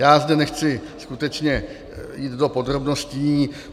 Já zde nechci skutečně jít do podrobností.